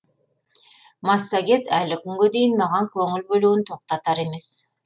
массагет әлі күнге дейін маған көңіл бөлуін тоқтатар емес